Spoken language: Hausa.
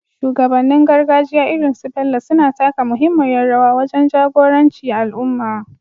Shugabannin gargajiya irin su Bello suna taka muhimmiyar rawa wajen jagoranci al’umma,